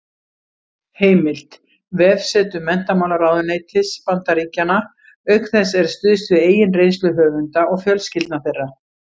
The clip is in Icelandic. Heimild: Vefsetur menntamálaráðuneytis Bandaríkjanna Auk þess er stuðst við eigin reynslu höfunda og fjölskyldna þeirra.